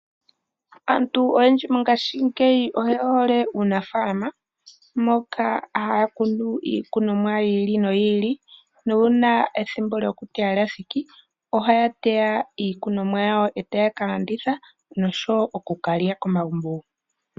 Aantu oyendji mongaashingeyi oye hole uunafaalama, moka haya kunu mo iikunomwa yiili noyili, na nuuna ethimbo lyokuteya iilikolomwa lyathiki ohaya teya iilikolomwa yawo, e taya ka landitha nosho woo oku kalya komagumbo gawo.